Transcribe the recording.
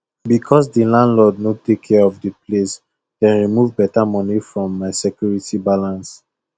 because the landlord nor take care of the place dem remove better money from my security balance